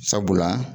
Sabula